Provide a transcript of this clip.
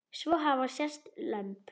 Svo hafa sést lömb.